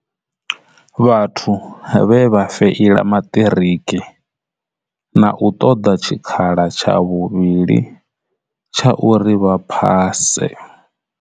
Vhathu vhe vha feila maṱiriki na u ṱoḓa tshikhala tsha vhuvhili tsha uri vha phase.